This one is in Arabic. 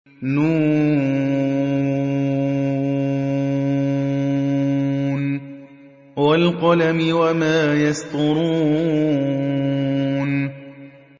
ن ۚ وَالْقَلَمِ وَمَا يَسْطُرُونَ